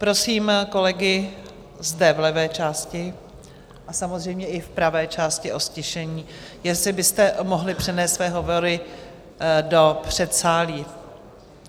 Prosím kolegy zde v levé části a samozřejmě i v pravé části o ztišení, jestli byste mohli převést své hovory do předsálí.